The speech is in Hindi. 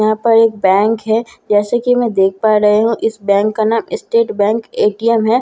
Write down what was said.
ईहा पर एक बैंक है जैसा कि में देख पा रही हूँ इस बैंक का नाम स्टेट बैंक ए_टी_एम है।